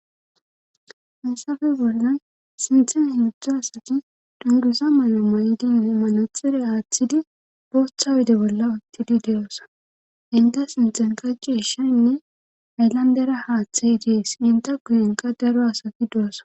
hayssafe boldan sinthen himudutza asati dungusa may7o ma7idi imimanatxire aaththidi booththa wede bolla uttidi de7osa inta sinthen kacci ishaynne ayllandera haaththey idees inta kuyenqa daro asaki du7asa